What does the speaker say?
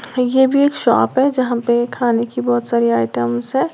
ये भी एक शॉप है जहां पे खाने की बहोत सारी आइटम्स है।